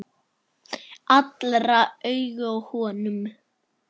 Allra augu á honum.